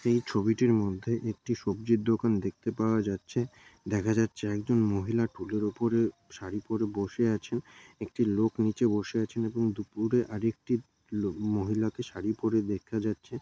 এই ছবিটির মধ্যে একটি সবজির দোকান দেখতে পাওয়া যাচ্ছে দেখা যাচ্ছে একজন মহিলা টুলের উপরে শাড়ি পরে বসে আছেন একটি লোক নিচে বসে আছেন এবং দুপুরে আরেকটি লো-- মহিলাকে শাড়ি পরে দেখা যাচ্ছে।